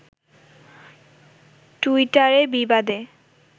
টুইটারে বিবাদে